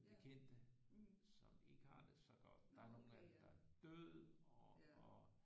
Bekendte som ikke har det så godt der er nogen af dem der er døde og og